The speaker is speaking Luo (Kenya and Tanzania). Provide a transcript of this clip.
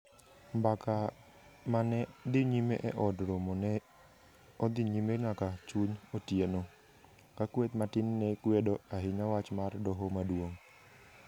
Mbaka ma ne dhi nyime e Od Romo ne odhi nyime nyaka chuny otieno, ka kweth matin ne kwedo ahinya wach mar Doho Maduong '.